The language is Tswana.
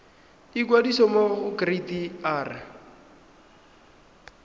ikwadisa mo go kereite r